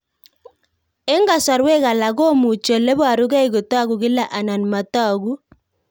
Eng'kasarwek alak komuchi ole parukei kotag'u kila anan matag'u